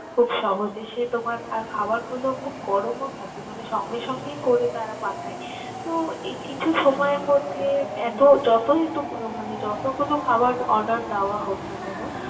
খুব সহজে সে তোমার আর খাবারগুলো খুব গরমও থাকে মানে সঙ্গে সঙ্গেই করে তারা পাঠায়। তো, এ কিছু সময়ের মধ্যে এত যতই মানে যতগুলো খাবার order দেওয়া হোক না কেন